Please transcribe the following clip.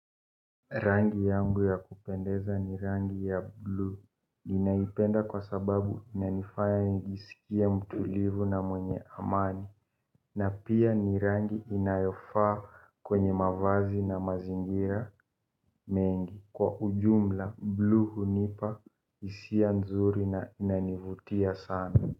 Rangi yangu ya kupendeza ni rangi ya blue ninaipenda kwa sababu inanifanya nijisikie mtulivu na mwenye amani na pia ni rangi inayofaa kwenye mavazi na mazingira mengi kwa ujumla blue hunipa hisia nzuri na inanivutia sana.